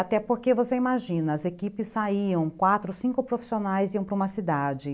Até porque, você imagina, as equipes saíam, quatro, cinco profissionais iam para uma cidade.